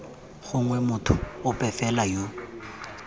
gongwe motho ope fela yo